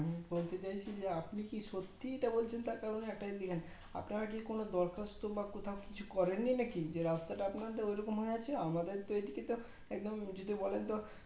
আমি বলতে চাইছি যে আপনি কি সত্যি এটা বলছেন তার কারণ একটাই দেখেন আপনি হয়তো দরখাস্ত বা কোথাও কিছু করেন নাকি রাস্তা তা আপনাদের ঐরকম হয়ে আছে আমাদের তো এইদিকে just একদম যদি বলেন তো